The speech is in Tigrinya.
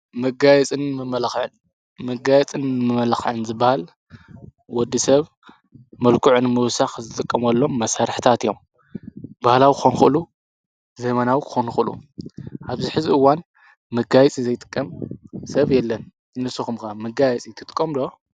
መጋይጽን መመላኽዕን ዝበሃል ወዲ ሰብ መልቁዕ ን ምውሳኽ ዝትቀምሎም መሣርሕታት እዮም በህላዊ ኾንኹሉ ዘመናዊ ክኾንኹሉ ኣብዚ ሕዝቢዋን ምጋይጽን ዘይትቀም ሰብ የለን እንሱ ኹምካ ምጋይጽቲ ትቆምዶ?